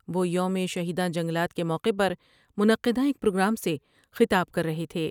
وہ یوم شہداں جنگلات کے موقع پر منعقدہ ایک پروگرام سے خطاب کر رہے تھے ۔